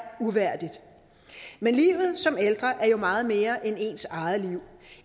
uværdigt men livet som ældre er jo meget mere end ens eget liv